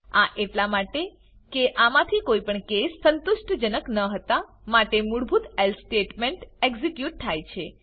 આ એટલા માટે કે આમાંથી કોઈ પણ કેસીસ સંતુષ્ટ જનક ન હતા માટે મૂળભૂત એલ્સે statementએક્ઝીક્યુટ થાય છે